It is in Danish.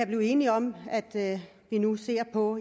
blive enige om at vi nu ser på